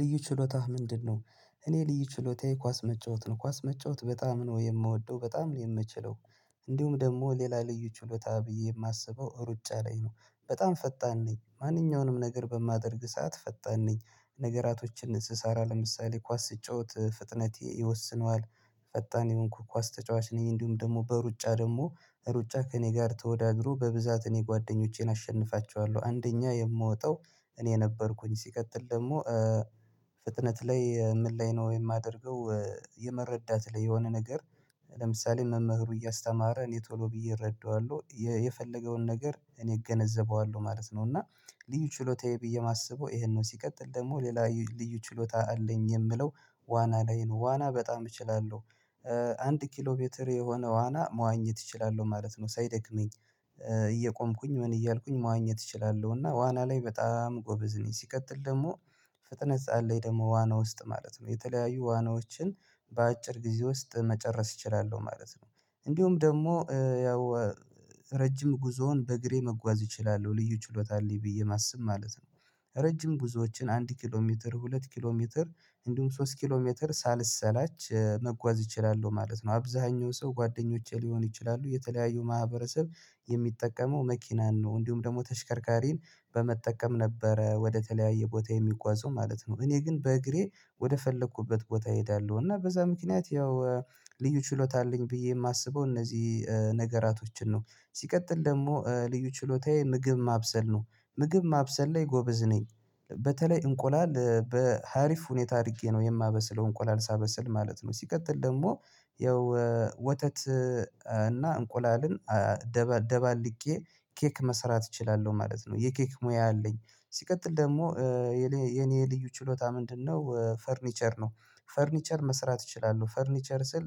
ልዩ ችሎታህ ምንድነው? እኔ ልዩ ችሎታዬ ኳስ መጫወት ነው ኳስ መጫወት በጣም ነው የምወደው በጣም የምችለው። እንዲሁም ደግሞ ሌላ ልዩ ችሎታ ብዬ የማስበው ሩጫ ላይ ነው በጣም ፈጣን ነኝ ማንኛውንም ነገር በማደርግ ሰዓት ፈጣን ነኝ ነገራቶችን ስስራ ለምሳሌ ኳስ ስጫወት ፍጥነቴ ይወስነዋል። ፈጣን የሆንኩ ኳስ ተጫዋች ነኝ እንዲሁም ደግሞ በሩጫ ደግሞ ሩጫ ከእኔ ጋር ተወዳድሮ በብዛት እኔ ጓደኞቼን አሸንፋቸዋለሁ አንደኛ የምወጣው። እኔ ነበርኩኝ ሲቀጥል ደግሞ ፍጥነት ላይ ምን ላይ ነው የማደርገው? የመረዳት ላይ የሆነ ነገር ለምሳሌ መምህሩ እያስተማረ እኔ ቶሎ ብዬ እረዳዋለሁ የፈለገውን ነገር እኔ እገነዘበዋለሁ ማለት ነው። እና ልዩ ችሎታዬ ብዬ የማስበው ይሄን ነው። ሲቀጥል ደግሞ ሌላ ልዩ ችሎታ አለኝ የምለው ዋና ላይ ነው ዋና በጣም እችላለሁ። አንድ ኪሎ ሜትር የሆነ ዋና መዋኘት እችላለሁ ማለት ነው ሳይደክመኝ። እየቆምኩኝ ምን እያልኩኝ መዋኘት እችላለሁ እና ዋና ላይ በጣም ጎበዝ ነኝ። ሲቀጥል ደግሞ ፍጥነት አለኝ ደግሞ ዋና ውስጥ ማለት ነው የተለያዩ ዋናዎችን በአጭር ጊዜ ውስጥ መጨረስ እችላለሁ ማለት ነው። እንዲሁም ደግሞ ያው ረጅም ጉዞውን በእግሬ መጓዝ እችላለሁ ልዩ ችሎታ አለኝ ብዬ ማስብ ማለት ነው። ረጅም ጉዞዎችን አንድ ኪሎ ሜትር ሁለት ኪሎ ሜትር እንዲሁም ሶስት ኪሎ ሜትር ሳልሰላች መጓዝ እችላለው ማለት ነው። አብዝሃኛው ሰው ጓደኞቼ ሊሆኑ ይችላሉ የተለያዩ ማህበረሰብ የሚጠቀመው መኪናን ነው እንዲሁም ደግሞ ተሽከርካሪን በመጠቀም ነበረ ወደተለያየ ቦታ የሚጓዘው ማለት ነው። እኔ ግን በእግሬ ወደ ፈለኩበት ቦታ እሄዳለሁ እና በዛ ምክንያት ያው ልዩ ችሎታ አለኝ ብዬ የማስበው እነዚህ ነገራቶችን ነው። ሲቀጥል ደግሞ ልዩ ችሎታዬ ምግብ ማብሰል ነው። ምግብ ማብሰል ላይ ጎበዝ ነኝ በተለይ እንቁላል በሀሪፍ ሁኔታ አድርጌ ነው የማበስለው እንቆላል ሳበስል ማለት ነው። ሲቀጥል ደግሞ የወተት እና እንቁላልን ደባልቄ ኬክ መስራት እችላለሁ ማለት ነው። የኬክ ሙያ አለኝ ሲቀጥል ደግሞ የኔ ልዩ ችሎታ ምንድነው? ፈርኒቸር ነው። ፈርኒቸር መስራት እችላለሁ ፈርኒቸር ስል